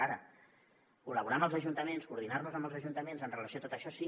ara col·laborar amb els ajuntaments coordinar nos amb els ajuntaments amb relació a tot això sí